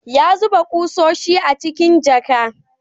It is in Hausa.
Ya zuba ƙusoshi a cikin jaka